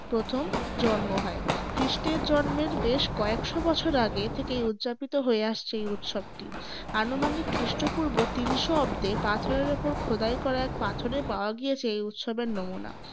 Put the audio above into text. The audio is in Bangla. প্রথম জন্ম হয়। খ্রীষ্টের জন্মের বেশ কয়েকশ’ বছর আগে থেকেই উদযাপিত হয়ে আসছে এই উৎসবটি। আনুমানিক খ্রীষ্টপূর্ব তিন শ’ অব্দে পাথরের উপর খোদাই করা এক পাথরে পাওয়া গিয়েছে এই উৎসবের নমুনা।